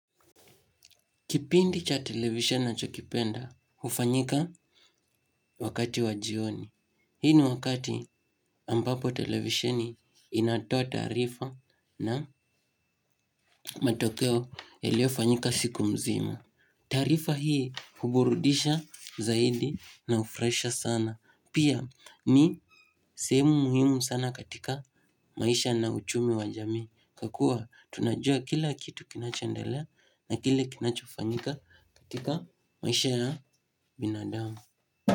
Kipindi cha televisheni ninachokipenda, hufanyika wakati wa jioni. Hii ni wakati ambapo televisioni inatoa taarifa na matokeo iliofanyika siku mzima. Taarifa hii huburudisha zaidi na hufurahisha sana. Pia ni sehemu muhimu sana katika maisha na uchumi wa jamii. Kwakua tunajua kila kitu kinachondelea na kile kinachofanyika katika maisha ya binadamu.